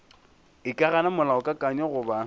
e ka gana molaokakanywa goba